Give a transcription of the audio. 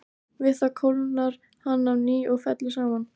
Við það kólnar hann á ný og fellur saman.